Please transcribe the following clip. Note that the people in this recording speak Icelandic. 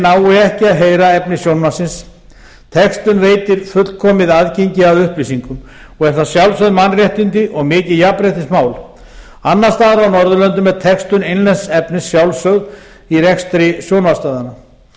nái ekki að heyra efni sjónvarpsins textun veitir fullkomið aðgengi að upplýsingum og er það sjálfsögð mannréttindi og mikið jafnréttismál annars staðar á norðurlöndum er textun innlends efnis sjálfsögð í rekstri sjónvarpsstöðvanna